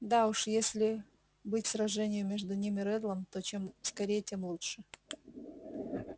да уж если быть сражению между ним и реддлом то чем скорее тем лучше